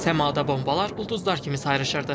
Səmada bombalar ulduzlar kimi sayrışırdı.